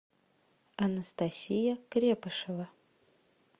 анастасия крепышева